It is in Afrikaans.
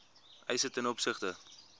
eise ten opsigte